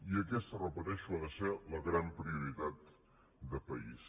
i aquesta ho repeteixo ha de ser la gran prioritat de país